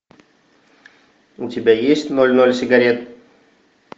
у тебя есть ноль ноль сигарет